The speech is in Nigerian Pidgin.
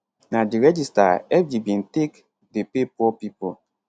na di register fg bin take dey pay poor pipo